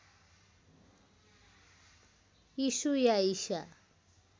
यीसु या ईसा